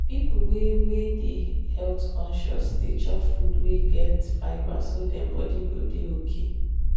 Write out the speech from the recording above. people wey wey dey health-conscious dey chop food wey get fibre so dem body go dey okay.